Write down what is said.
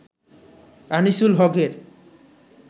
Anisul হক-এর